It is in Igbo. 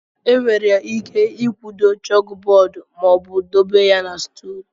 Enwere ike ịkwudo chókbọọdụ ma ọ bụ dobe ya na stùl